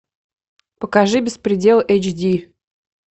покажи беспредел эйч ди